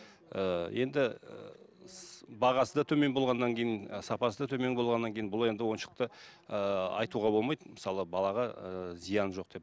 ыыы енді ыыы бағасы да төмен болғаннан кейін сапасы да төмен болғаннан кейін бұл енді ойыншықты ыыы айтуға болмайды мысалы балаға ыыы зияны жоқ деп